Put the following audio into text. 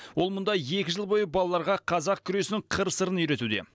ол мұнда екі жыл бойы балаларға қазақ күресінің қыр сырын үйретуде